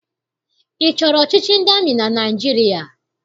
Ị chọrọ ọchịchị ndị amị na Naịjirịa?